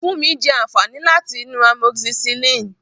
Funmi jẹ àǹfààní láti inú amoxicillin.